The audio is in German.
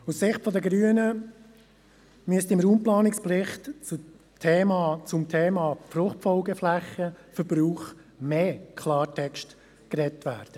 Aus Sicht der Grünen müsste im Raumplanungsbericht zum Thema Verbrauch von Fruchtfolgeflächen mehr Klartext gesprochen werden.